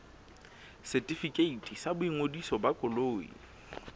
setefikeiti sa boingodiso ba koloi